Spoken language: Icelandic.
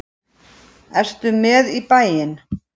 Ertu með í bæinn?